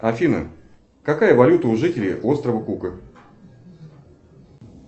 афина какая валюта у жителей острова кука